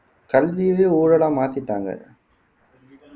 கல்வியவே ஊழலா மாத்திட்டாங்க